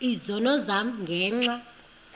izono zam ngenxa